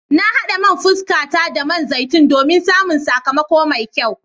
Na hada man fuskata da man zaitun domin samun sakamako mai kyau.